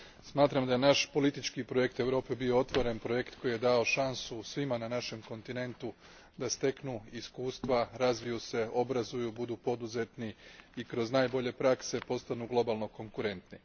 Smatram da je naš politički projekt Europe bio otvoreni projekt koji je dao šansu svima na našem kontinentu da steknu iskustva, razviju se, obrazuju, budu poduzetni i kroz najbolje prakse postanu globalno konkurentni.